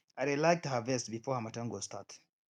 i dey like to harvest before harmattan go start